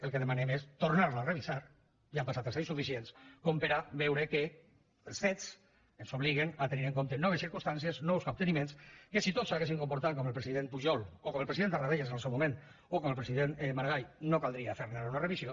el que demanem és tornar la a revisar ja han passat presidents suficients com per veure que els fets ens obliguen a tenir en compte noves circumstàncies nous capteniments que si tots s’haguessin comportat com el president pujol o com el president tarradellas en el seu moment o com el president maragall no caldria fer ne ara una revisió